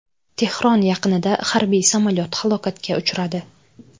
Tehron yaqinida harbiy samolyot halokatga uchradi.